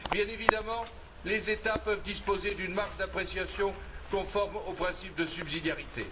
Bien évidemment, les États peuvent disposer d'une marge d'appréciation conforme au principe de subsidiarité.